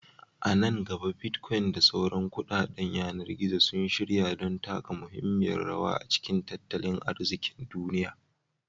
A nan gaba, Bitcoin da sauran kuɗaɗen yanar gizo sun shirya don taka muhimmiyar rawa a cikin tattalin arzikin duniya.